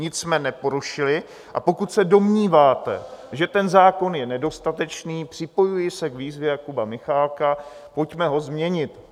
Nic jsme neporušili, a pokud se domníváte, že ten zákon je nedostatečný, připojuji se k výzvě Jakuba Michálka, pojďme ho změnit.